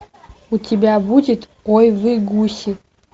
у тебя будет ой вы гуси